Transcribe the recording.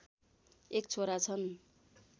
एक छोरा छन्